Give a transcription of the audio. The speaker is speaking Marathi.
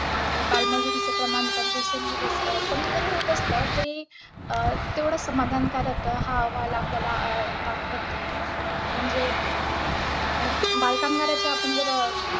आणि बालमजुरीचे प्रमाण पण दिवसेंदिवस अं कमी जरी होत असलं तरी अं तेवढं समाधानकारक हा अहवाल आपल्याला अह दाखवत नाही. म्हणजे आहे, बालकामगारांचे आपण जर